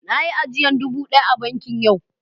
Na yi ajiyan dubu daya a banki yau.